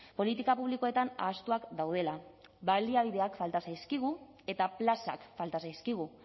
politika publikoetan ahaztuak daudela baliabideak falta zaizkigu eta plazak falta zaizkigu